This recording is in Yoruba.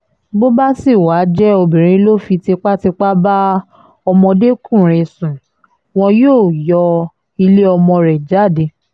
bó bá sì wáá jẹ́ obìnrin ló fi tipátipá bá ọmọdékùnrin sùn wọn yóò yọ ilé ọmọ rẹ jáde